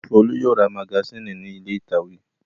Folú yóò ra magasínì ní ilé ìtàwé.